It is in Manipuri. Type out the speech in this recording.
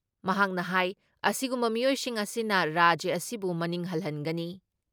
ꯃꯍꯥꯛꯅ ꯍꯥꯏ ꯑꯁꯤꯒꯨꯝꯕ ꯃꯤꯑꯣꯏꯁꯤꯡ ꯑꯁꯤꯅ ꯔꯥꯖ꯭ꯌ ꯑꯁꯤꯕꯨ ꯃꯅꯤꯡ ꯍꯜꯍꯟꯒꯅꯤ ꯫